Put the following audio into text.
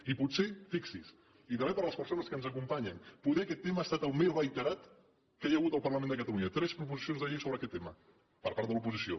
i potser fixi’s i també per a les persones que ens acompanyen poder aquest tema ha estat el més reiterat que hi ha hagut al parlament de catalunya tres proposicions de llei sobre aquest tema per part de l’oposició